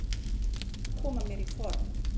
Ég þarf að koma mér í form.